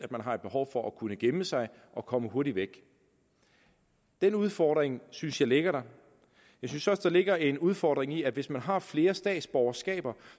man har behov for at kunne gemme sig og komme hurtigt væk den udfordring synes jeg ligger der jeg synes også der ligger en udfordring i at hvis man har flere statsborgerskaber